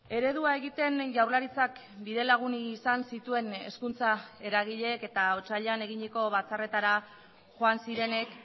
eredua egiten jaurlaritzak bidelagun izan zituen hezkuntza eragileek eta otsailean eginiko batzarretara joan zirenek